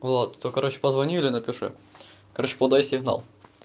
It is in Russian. влад то короче позвони или напиши короче подай сигнал